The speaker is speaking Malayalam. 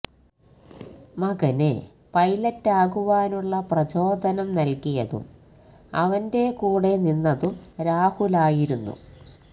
മകന് പൈലറ്റാകുവാനുള്ള പ്രചോദനം നല്കിയതും അവന്റെ കൂടെ നിന്നതും രാഹുലായിരുന്നു